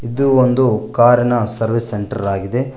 ಇದು ಒಂದು ಕಾರಿನ ಸರ್ವಿಸ್ ಸೆಂಟರ್ ಆಗಿದೆ.